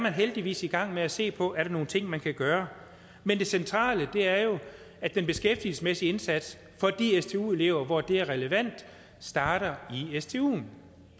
heldigvis er i gang med at se på er nogle ting man kan gøre men det centrale er jo at den beskæftigelsesmæssige indsats for de stu elever hvor det er relevant starter i stuen